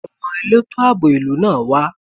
Ṣé àwọn elétò àbò ìlú náà wá?